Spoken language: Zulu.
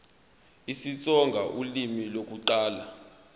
isitsonga ulimi lokuqala